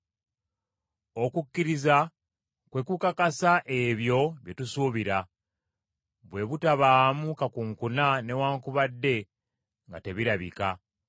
Okukkiriza kwe kukakasa ebyo bye tusuubira, bwe butabaamu kakunkuna newaakubadde nga tebirabika.